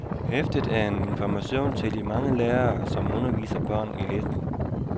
Hæftet er en information til de mange lærere, som underviser børn i læsning.